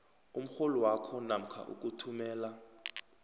umrholwakho namkha ukuthumela